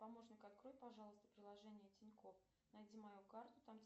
помощник открой пожалуйста приложение тинькофф найди мою карту там